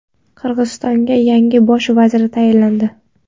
Qirg‘izistonga yangi bosh vazir tayinlandi.